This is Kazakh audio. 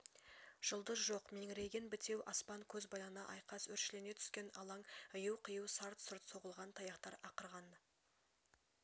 жұлдыз жоқ меңірейген бітеу аспан көз байлана айқас өршелене түскен алаң ию-қию сарт-сұрт соғылған таяқтар ақырған